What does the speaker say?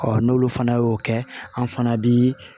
n'olu fana y'o kɛ an fana bi